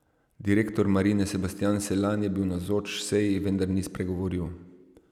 Direktor Marine Sebastjan Selan je bil navzoč seji, vendar ni spregovoril.